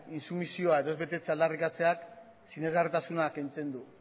intsumisioa edo ez betetzea aldarrikatzeak sinesgarritasuna kentzen du